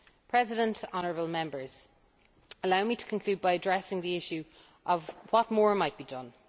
President, honourable Members, allow me to conclude by addressing the issue of what more might be done.